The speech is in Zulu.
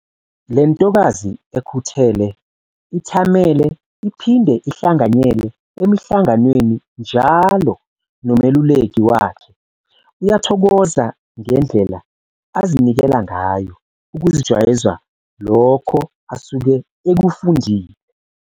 Le ntokazi ekhuthele ithamele iphinde ihlanganyele emihlanganweni njalo nomeluleki wakhe uyathokoza ngendlela azinikela ngayo ukuzijwayeza lokho asuke ekufundile.